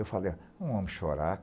Eu falei, ó, um homem chorar?